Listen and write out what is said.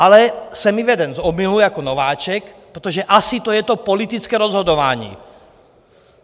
Ale jsem vyveden z omylu jako nováček, protože asi to je to politické rozhodování.